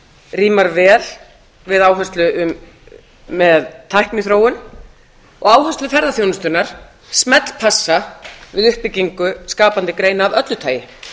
rímar vel við áherslu með tækniþróun og áherslur ferðaþjónustunnar smellpassa við uppbyggingu skapandi greina af öllu tagi